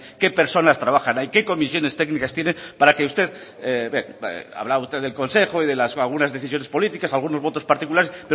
qué personas trabajan ahí qué comisiones técnicas tienen para que usted bueno hablaba usted del consejo y de las lagunas decisiones políticas algunos votos particulares